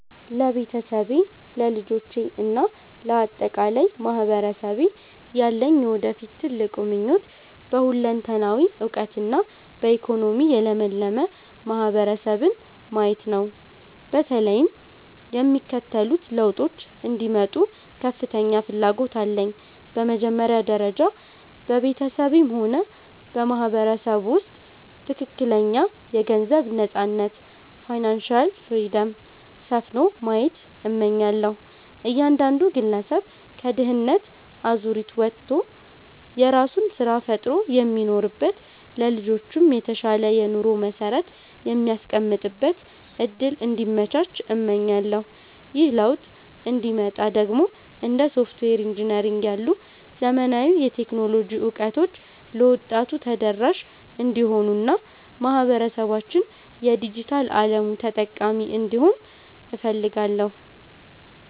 ለቤተሰቤ፣ ለልጆቼ እና ለአጠቃላይ ማህበረሰቤ ያለኝ የወደፊት ትልቁ ምኞት በሁለንተናዊ እውቀትና በኢኮኖሚ የለመለመ ማህበረሰብን ማየት ነው። በተለይም የሚከተሉት ለውጦች እንዲመጡ ከፍተኛ ፍላጎት አለኝ፦ በመጀመሪያ ደረጃ፣ በቤተሰቤም ሆነ በማህበረሰቡ ውስጥ ትክክለኛ የገንዘብ ነፃነት (Financial Freedom) ሰፍኖ ማየት እመኛለሁ። እያንዳንዱ ግለሰብ ከድህነት አዙሪት ወጥቶ የራሱን ስራ ፈጥሮ የሚኖርበት፣ ለልጆቹም የተሻለ የኑሮ መሰረት የሚያስቀምጥበት እድል እንዲመቻች እመኛለሁ። ይህ ለውጥ እንዲመጣ ደግሞ እንደ ሶፍትዌር ኢንጂነሪንግ ያሉ ዘመናዊ የቴክኖሎጂ እውቀቶች ለወጣቱ ተደራሽ እንዲሆኑና ማህበረሰባችን የዲጂታል አለሙ ተጠቃሚ እንዲሆን እፈልጋለሁ።